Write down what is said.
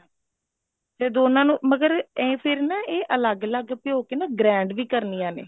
ਤੇ ਦੋਨਾ ਨੂੰ ਮਗਰ ਇਹ ਨਾ ਫਿਰ ਅਲੱਗ ਅਲੱਗ ਭਿਓਂ ਕੇ ਨਾ grind ਵੀ ਕਰਨੀਆ ਨੇ